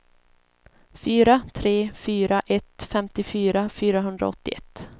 fyra tre fyra ett femtiofyra fyrahundraåttioett